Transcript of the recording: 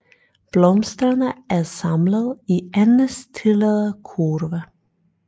Blomsterne er samlet i endestillede kurve